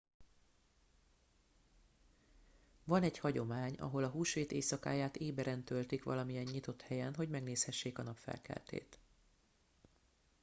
van egy hagyomány ahol a húsvét éjszakáját éberen töltik valamilyen nyitott helyen hogy megnézhessék a napfelkeltét